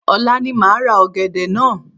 Ọ̀la ni máa ra ọ̀gẹ̀dẹ̀ naa